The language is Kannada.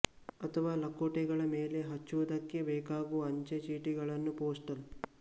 ಅಥವಾ ಲಕೋಟೆಗಳ ಮೇಲೆ ಹಚ್ಚುವುದಕ್ಕೆ ಬೇಕಾಗುವ ಅಂಚೆ ಚೀಟಿಗಳನ್ನು ಪೋಸ್ಟಲ್